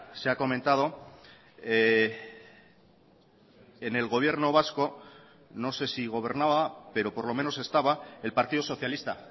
se ha comentado en el gobierno vasco no sé si gobernaba pero por lo menos estaba el partido socialista